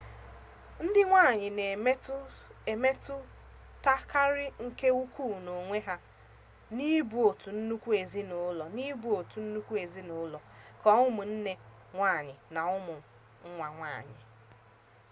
ndị nwanyị na-emetụtakarị nke ukwu n'onwe ha n'ibu otu nnukwu ezinụlọ nke ụmụnne nwanyị na ụmụ nwa nwanyị